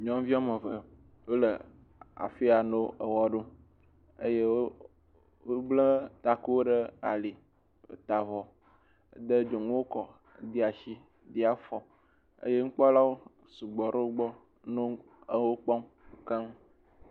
Nyɔnu woame eve, wole afi ya nɔ ewɔ ɖu eye wo bla taku ɖe ali, wota avɔ de dzonuwo kɔ, wo de asi, de afɔ eye nukpɔlawo sugbɔ ɖe wogbɔ nɔ ewo kpɔm keŋ.